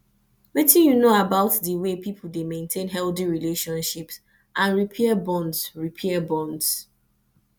wetin you know about di way people dey maintain healthy relationships and repair bonds repair bonds